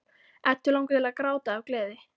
Eddu langar til að gráta af gleði.